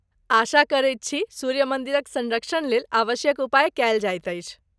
आशा करैत छी सूर्य मन्दिरक सँरक्षणलेल आवश्यक उपाय कयल जाइत अछि।